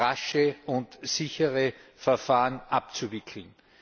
rasche und sichere Verfahren abzuwickeln.